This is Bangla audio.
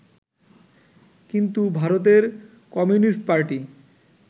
কিন্তু ভারতের কমিউনিস্ট পার্টি